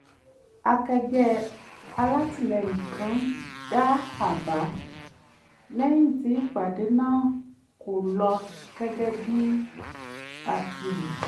akẹgbẹ́ alátìlẹ́yìn kan dá àbá lẹ́yìn tí ìpàdé náà kò lọ gẹ́gẹ́ bí a ti rò